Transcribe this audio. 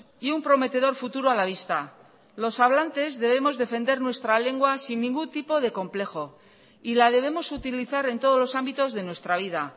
y un prometedor futuro a la vista los hablantes debemos defender nuestra lengua sin ningún tipo de complejo y la debemos utilizar en todos los ámbitos de nuestra vida